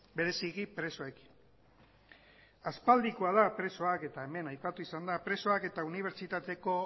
bereziki presoekin aspaldikoa da presoak eta hemen aipatu izan da presoak eta unibertsitateko